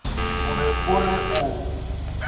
o be o re o